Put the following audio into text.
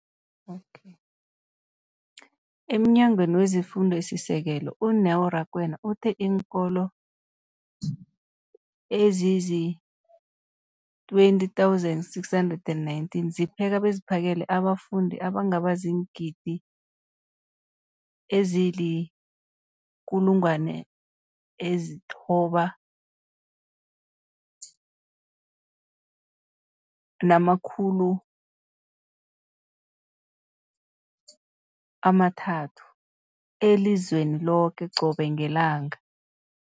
EmNyangweni wezeFundo esiSekelo, u-Neo Rakwena, uthe iinkolo ezizi-20 619 zipheka beziphakele abafundi abangaba ziingidi ezili-9 032 622 elizweni loke qobe ngelanga.